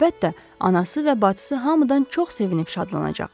Əlbəttə, anası və bacısı hamıdan çox sevinib şadlanacaq.